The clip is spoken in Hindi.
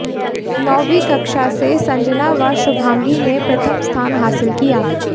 नौवीं कक्षा से संजना व शुभांगी ने प्रथम स्थान हासिल किया